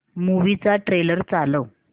movie चा trailer चालव